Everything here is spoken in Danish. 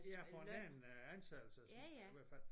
Ja foranledende ansættelses i hver fald